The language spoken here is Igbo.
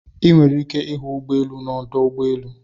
I nwere ike ịhụ ụgbọelu n'ọdụ ụgbọelu.